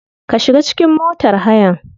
Ka shiga cikin motar hayan.